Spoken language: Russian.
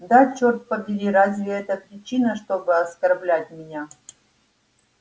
да чёрт подери разве это причина чтобы оскорблять меня